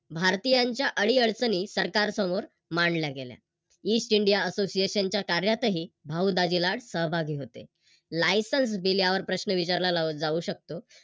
भारतीयांच्या अडीअडचणी सरकार समोर मांडला गेल्या. East india association च्या कार्यातही भाऊ दाजी लाड सहभागी होते. Licence दिल्यावर प्रश्न विचारला जाऊ शकतो.